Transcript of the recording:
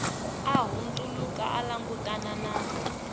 a hundzuluka a langutana na